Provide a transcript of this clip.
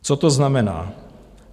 Co to znamená?